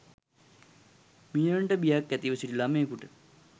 මීයනට බියක් ඇතිව සිටි ළමයකුට